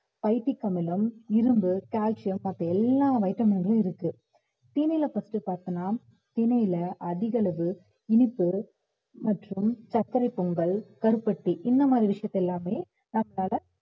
பைத்திக் அமிலம், இரும்பு, கால்சியம் மத்த எல்லா vitamin களும் இருக்கு திணையில first பார்த்தோம்னா திணையில அதிகளவு இனிப்பு மற்றும் சர்க்கரைப் பொங்கல், கருப்பட்டி இந்த மாதிரி விஷயத்த எல்லாமே நம்மளால